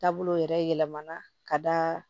Taabolo yɛrɛ yɛlɛmana ka d'a kan